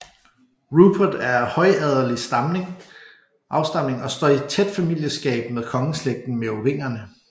Rupert er af højadelig afstamning og står i tæt familieskab med kongeslægten Merovingerne